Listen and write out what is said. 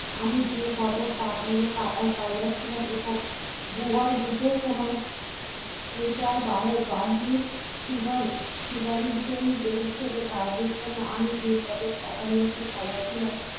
আমি যে পদক পাঠাইয়াছি পাইয়া ছিলাম এবং দুবার যুদ্ধের সময় treasure বাহক বাহিনী super superintendent কাজের জন্য আমি যে পদক পাঠাইয়াছি পাইয়াছিলাম